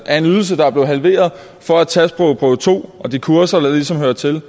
af en ydelse der er blevet halveret for at tage sprogprøve to og de kurser der ligesom hører til